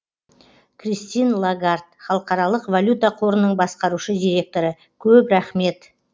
кристин лагард халықаралық валюта қорының басқарушы директоры көп рахмет